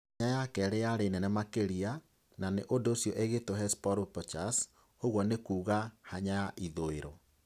hanya ya kerĩ yarĩ nene makĩria, na nĩ ũndũ ũcio ĩgĩĩtwo Hesperonychus, ũguo nĩ kuuga "hanya ya ithũĩro".